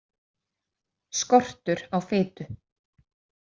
Skortur á fitu.